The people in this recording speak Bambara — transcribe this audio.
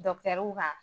kan